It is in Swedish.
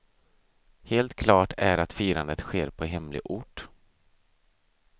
Helt klart är att firandet sker på hemlig ort.